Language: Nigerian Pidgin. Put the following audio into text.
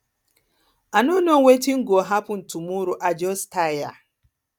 i no know wetin go happen tomorrow i just tire